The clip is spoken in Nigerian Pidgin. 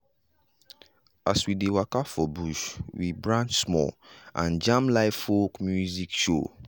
as we dey waka for bush we branch small and jam live folk music show.